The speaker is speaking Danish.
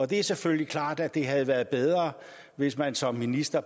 det er selvfølgelig klart at det havde været bedre hvis man som minister